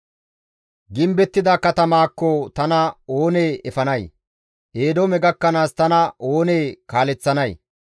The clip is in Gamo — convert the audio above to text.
Gimbettida katamaakko tana oonee efanay? Eedoome gakkanaas tana oonee kaaleththanay?